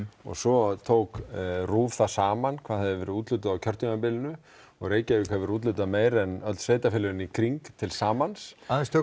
svo tók RÚV það saman hvað hafði verið úthlutað á kjörtímabilinu og Reykjavík hefur úthlutað en öll sveitarfélögin í kring til samans